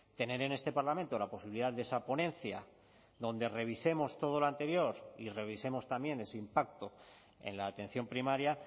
tener en este parlamento la posibilidad de esa ponencia donde revisemos todo lo anterior y revisemos también ese impacto en la atención primaria